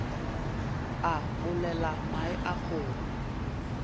a olela mae a kgogo